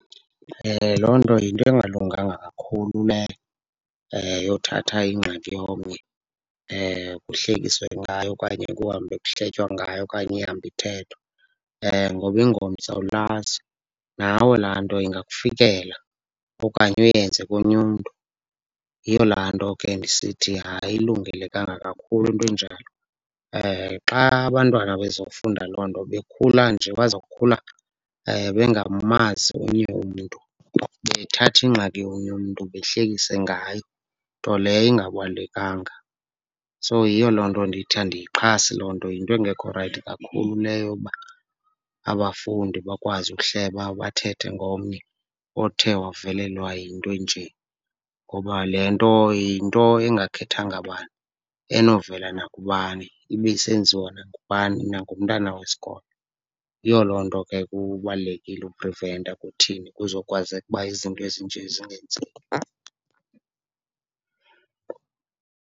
Loo nto yinto engalunganga kakhulu leyo yothatha ingxaki yomnye kuhlekiswe ngayo okanye kuhambe kuhletywa ngayo okanye ihambe ithethwa ngoba ingomso awulazi, nawe laa nto ingakufikela okanye uyenze komnye umntu. Yiyo laa nto ke ndisithi ayilungelekanga kakhulu into enjalo. Xa abantwana bezofunda loo nto, bekhula nje bazokhula bengamazi omnye umntu, bethatha ingxaki yomnye umntu behlekise ngayo, nto leyo ingabalulekanga. So, yiyo loo nto ndithi andiyixhasi loo nto, yinto engekho rayithi kakhulu leyo yokuba abafundi bakwazi ukuhleba bathetha ngomnye othe wavelelwe yinto enje ngoba le nto yinto engakhethanga bani, enovela nakubani, ibe isenziwa nangubani, nangumntana wesikolo. Yiyo loo nto ke kubalulekile ukupreventa kuthini kuzokwazeka uba izinto ezinje zingenzeki.